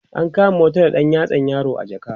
an kama wata da ɗan yatsan yaro a jaka